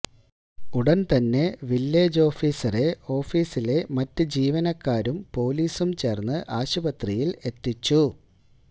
ഉടന് തന്നെ വില്ലേജ് ഓഫീസറെ ഓഫിസിലെ മറ്റു ജീവനക്കാരും പോലിസും ചേര്ന്ന് ആശുപത്രിയില് എത്തിച്ചു